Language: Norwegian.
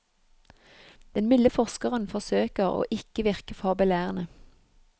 Den milde forskeren forsøker å ikke virke for belærende.